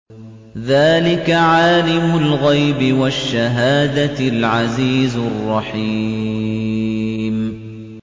ذَٰلِكَ عَالِمُ الْغَيْبِ وَالشَّهَادَةِ الْعَزِيزُ الرَّحِيمُ